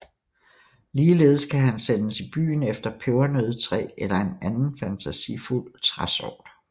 Ligeledes kan han sendes i byen efter pebernøddetræ eller en anden fantasifuld træsort